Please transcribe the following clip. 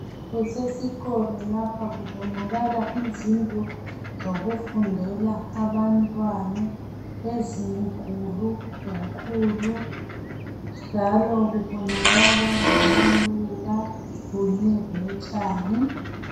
Kusesikolo lapha kubonakala izindlu zokufundela abantwana ezinkulu kakhulu njalo kubonakala lamaluba kunye lotshani.